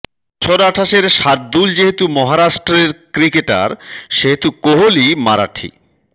বছর আঠাশের শার্দূল যেহেতু মহারাষ্ট্রের ক্রিকেটার সেহেতু কোহলি মারাঠি